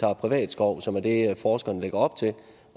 ha privat skov som er det forskerne lægger op til